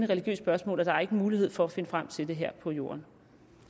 religiøst spørgsmål og der er ikke mulighed for at finde frem til det her på jorden